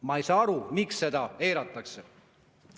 Ma ei saa aru, miks seda eiratakse.